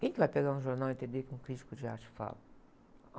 Quem vai que pegar um jornal e entender o que um crítico de arte fala?